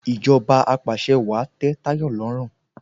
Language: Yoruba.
Ìjọba apàṣẹwàá tẹ Táyọ̀ lọ́rùn